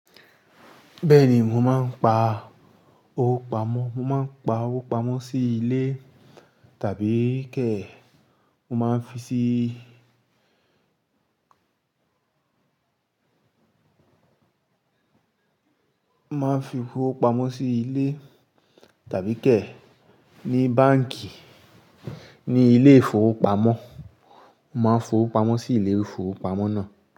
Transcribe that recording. Bẹ́ẹ̀ni, mo máa ń pa owó pamọ́. Mo máa ń pa owó pamọ́ sí ilé tàbí kẹ̀, mo máa ń fi síí, máa ń fi owó pamọ́ sí ilé tàbí kẹ̀ ní báǹkì, ní ilé ìfowópamọ́. Mo máa ń fowó pamọ́ sí ilé ìfowópamọ́ náà.